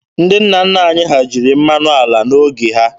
Ndị nna nna anyị ha jiri mmanụ ala n'oge ha.